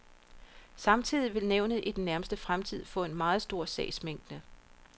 Samtidig vil nævnet i den nærmeste fremtid få en meget stor sagsmængde.